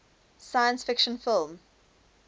science fiction film